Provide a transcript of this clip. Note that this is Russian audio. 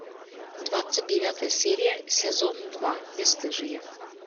двадцать девятая серия сезон два бесстыжие